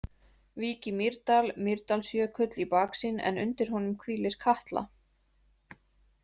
Vík í Mýrdal, Mýrdalsjökull í baksýn en undir honum hvílir Katla.